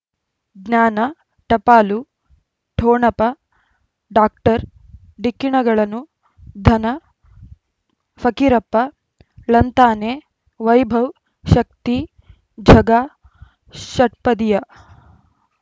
ಜ್ಞಾನ ಟಪಾಲು ಠೊಣಪ ಡಾಕ್ಟರ್ ಢಿಕ್ಕಿ ಣಗಳನು ಧನ ಫಕೀರಪ್ಪ ಳಂತಾನೆ ವೈಭವ್ ಶಕ್ತಿ ಝಗಾ ಷಟ್ಪದಿಯ